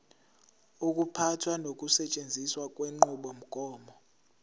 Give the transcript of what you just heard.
ukuphatha nokusetshenziswa kwenqubomgomo